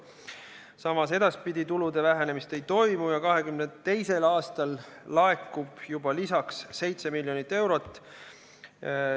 Samas, edaspidi tulude vähenemist ei toimu ja 2022. aastal laekub juba lisaks 7 miljonit eurot.